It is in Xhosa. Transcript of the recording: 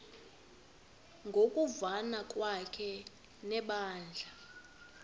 ngokuvana kwakhe nebandla